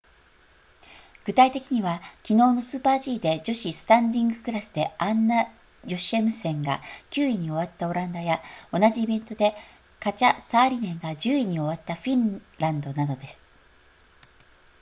具体的には昨日のスーパー g で女子スタンディングクラスでアンナヨシェムセンが9位に終わったオランダや同じイベントでカチャサーリネンが10位に終わったフィンランドなどです